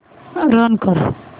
run कर